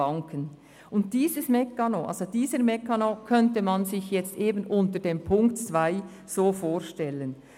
Diesen Funktionsmechanismus könnte man sich unter Ziffer 2 so vorstellen: